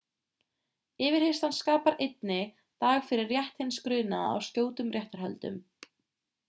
yfirheyrslan skapar einnig dag fyrir rétt hins grunaða á skjótum réttarhöldum